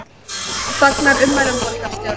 Fagnar ummælum borgarstjóra